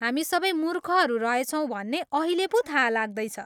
हामी सबै मूर्खहरू रहेछौँ भन्ने अहिले पो थाहा लाग्दैछ।